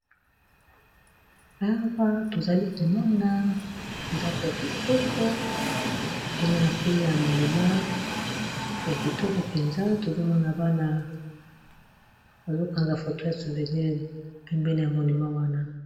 Awa tozali komona ndako ya kitoko tozomona pe ya monima ya kitoko, mpenza tozomona bana bazokanga foto ya souvenil pe pene ya monima wana.